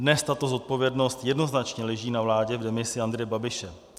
Dnes tato zodpovědnost jednoznačně leží na vládě v demisi Andreje Babiše.